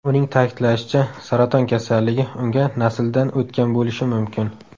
Uning ta’kidlashicha, saraton kasalligi unga nasldan o‘tgan bo‘lishi mumkin.